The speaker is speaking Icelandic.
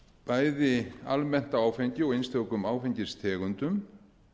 bæði almennt á áfengi og einstökum áfengistegundum